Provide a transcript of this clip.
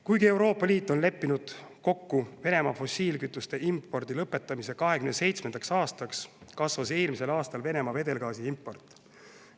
Kuigi Euroopa Liit on leppinud kokku Venemaa fossiilkütuste impordi lõpetamises 2027. aastaks, kasvas eelmisel aastal Venemaa vedelgaasi import.